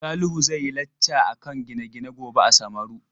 Salihu zai yi lacca akan gine-gine gobe a Samaru.